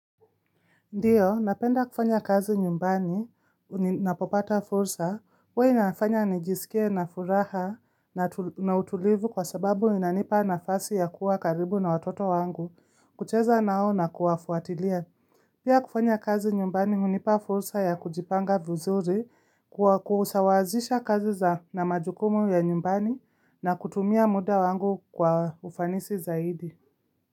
Ndio, napenda kufanya kazi nyumbani, ninapopata fursa, huwa inafanya nijisikie na furaha na utulivu kwa sababu inanipa nafasi ya kuwa karibu na watoto wangu kucheza nao na kuwafuatilia. Pia kufanya kazi nyumbani hunipa fursa ya kujipanga vizuri kwa kusawazisha kazi za na majukumu ya nyumbani na kutumia muda wangu kwa ufanisi zaidi.